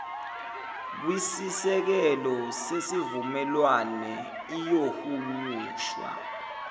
kwisisekelo sesivumelwane iyohunyushwa